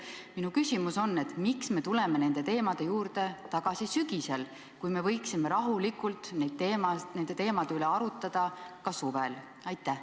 Mu küsimus on: miks me tuleme nende teemade juurde tagasi sügisel, kui me võiksime rahulikult nende teemade üle arutada ka suvel?